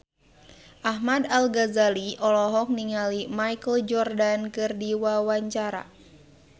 Ahmad Al-Ghazali olohok ningali Michael Jordan keur diwawancara